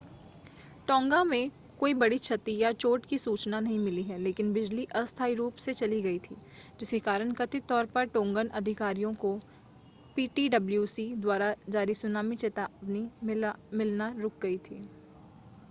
टोंगा में कोई बड़ी क्षति या चोट की सूचना नहीं मिली है लेकिन बिजली अस्थाई रूप से चली गई थी जिसके कारण कथित तौर पर टोंगन अधिकारियों को पीटीडब्ल्यूसी द्वारा जारी सूनामी चेतावनी मिलना रुक गई थी